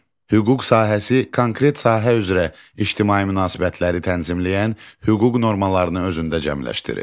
Hüquq sahəsi konkret sahə üzrə ictimai münasibətləri tənzimləyən hüquq normalarını özündə cəmləşdirir.